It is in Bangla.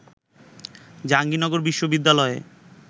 জাহাঙ্গীরনগর বিশ্ববিদ্যালয়ে